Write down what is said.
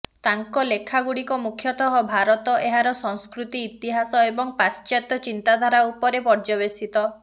ତାଙ୍କ ଲେଖାଗୁଡ଼ିକ ମୁଖ୍ୟତଃ ଭାରତ ଏହାର ସଂସ୍କୃତି ଇତିହାସ ଏବଂ ପାଶ୍ଚାତ୍ୟ ଚିନ୍ତାଧାରା ଉପରେ ପର୍ଯ୍ୟେବସିତ